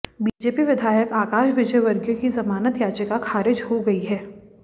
BJP विधायक आकाश विजयवर्गीय की ज़मानत याचिका खारिज हो गई है